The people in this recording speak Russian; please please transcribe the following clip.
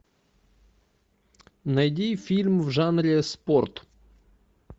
найди фильм в жанре спорт